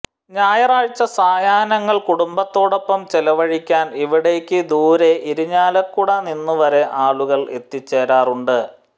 ഞായറാഴ്ച സായാഹ്നങ്ങൾ കുടുംബത്തോടൊപ്പം ചെലവഴിക്കാൻ ഇവിടേയ്ക്ക് ദൂരെ ഇരിഞ്ഞാലക്കുട നിന്നു വരെ ആളുകൾ എത്തിച്ചേരാറുണ്ട്